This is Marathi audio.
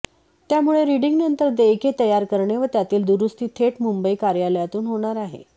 त्यामुळे रिडींग नंतर देयके तयार करणे व त्यातील दुरूस्ती थेट मुंबई कार्यालयातून होणार आहे